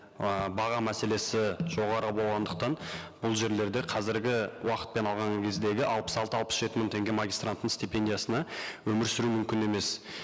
ы баға мәселесі жоғары болғандықтан бұл жерлерде қазіргі уақытпен алған кездегі алпыс алты алпыс жеті мың теңге магистранттың стипендиясына өмір сүру мүмкін емес